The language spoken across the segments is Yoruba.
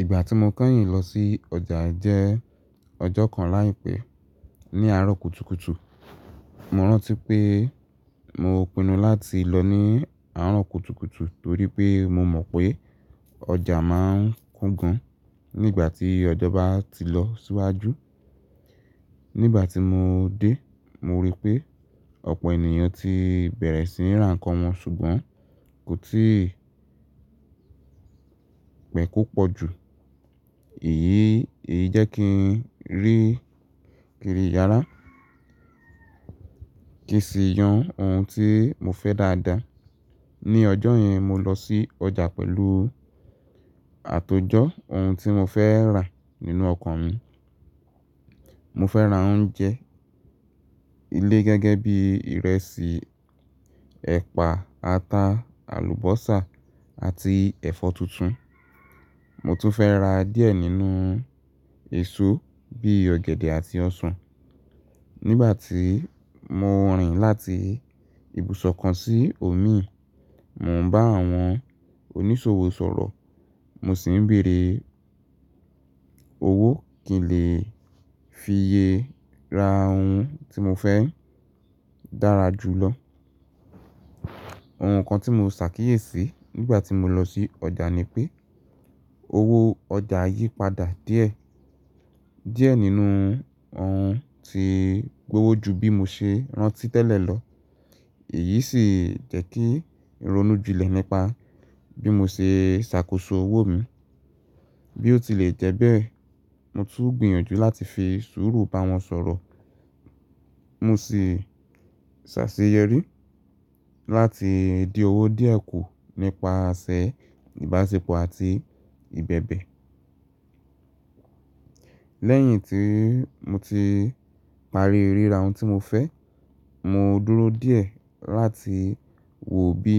Ìgbà tí mo kányìn lọ sí ọjà jẹ́ ọjọ́ kan láìpẹ́ ní àárọ̀ kùtùkùtù. Mo rántí pé mo pinu láti lọ ní àárọ̀ kùtùkùtù torí pé mo mọ̀ pé ọjà máa ń kún gan nígbà tí ọjọ́ bá ti lọ síwájú. Nígbà tí mo dé, mo rí pé ọ̀pọ̀ ènìyàn ti bẹ̀rẹ̀ sí ní ra nǹkan wọn ṣùgbọ́n kò tí pẹ́ kó pọ̀jù. Èyí, èyí jẹ́ kí n rí kiri ràrá kí sì yan ohun tí mo fẹ́ dáadáa. Ni ọjọ́ yẹn, mo lọ sí ọjà pẹ̀lú àtòjọ́ ohun tí mo fẹ́ rà nínú ọkàn mi. Mo fẹ́ ra oúnjẹ ilé gẹ́gẹ́ bí ìrẹsì, ẹ̀pà, ata, àlùbọ́sà àti ẹ̀fọ́ tuntun. Mo tún fẹ́ ra díẹ̀ nínú èso bí i ọ̀gẹ̀dẹ̀ àti ọsàn. Nígbà tí mo rìn láti ibùsọ̀ kan sí òmíì, mò ń bá àwọn onísòwò sọ̀rọ̀, mo sì ń bèèrè owó kí n lè fiye ra ohun tí mo fẹ́ dára jù lọ. Ohun kan tí mo ṣàkíyèsí nígbà tí mo lọ sí ọjà ni pé owó ọjà yí padà díẹ̀. Díẹ̀ nínú ohun ti gbówó jù bí mo ṣe rántí tẹ́lẹ̀ lọ. Èyí sì jẹ́ kí ronú ju lẹ̀ nípa bí mo ṣe ṣàkóso owó mi. Bí ó ti lè jẹ́ bẹ́ẹ̀, mo tún gbìyànjú láti fi sùúrù bá wọn sọ̀rọ̀. Mo sì ṣàṣeyẹrí láti di ọwọ́ díẹ̀ kù nípa àsẹ̀ ìbáṣepọ̀ àti ìbẹ̀bẹ̀. Lẹ́yìn tí mo ti parí ríra ohun tí mo fẹ́, mo dúró díẹ̀ láti wò bí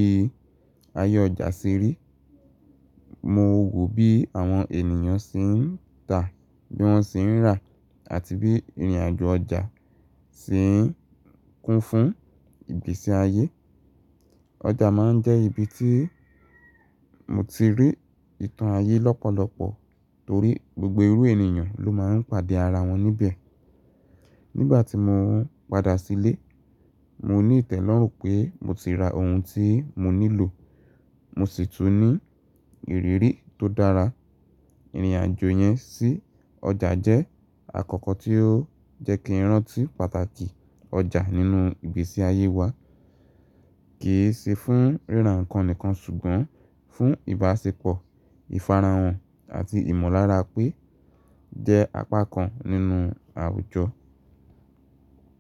ayé ọjà ṣe rí. Mo wò bí àwọn ènìyàn ṣe ń tà, bí wọ́n ṣe ń rà àti bí ìrìnàjò ọjà ṣe ń kún fún ìgbésí ayé. Ọjà máa ń jẹ́ ibi tí mo ti rí ìtàn ayé lọ́pọ̀lọpọ̀ torí gbogbo irú ènìyàn ló máa ń pàdé ara wọn níbẹ̀. Nígbà tí mo padà sílé, mo ní ìtẹ́lọ́rùn pé mo ti ra ohun tí mo nílò. Mo sì tún ní ìrírí tó dára. Ìrìnàjò yẹn sí ọjà jẹ́ àkókò tí ó jẹ́ kí n rántí pàtàkì ọjà nínú ìgbésí ayé wa. Kì í ṣe fún ríra nǹkan nìkan ṣùgbọ́n fún ìbáṣepọ̀, ìfarahàn àti ìmọ̀lára pé jẹ́ apá kan nínú àwùjọ.